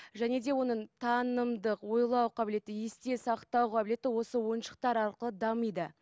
және де оның танымдық ойлау қабілеті есте сақтау қабілеті осы ойыншықтар арқылы дамиды